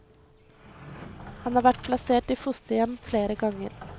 Han har vært plassert i fosterhjem flere ganger.